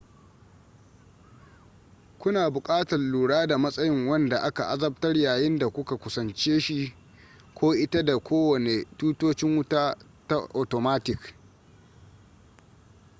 kuna buƙatar lura da matsayin wanda aka azabtar yayin da kuka kusanci shi ko ita da kowane tutocin wuta ta atomatik